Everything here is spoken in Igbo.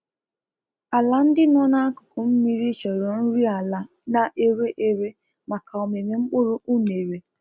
Ala ndị nọ na akụkụ mmiri chọrọ nri ala na-ere ere maka ọmịmị mkpụrụ unere